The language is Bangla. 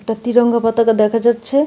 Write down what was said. একটা তিরঙ্গা পতাকা দেখা যাচ্ছে.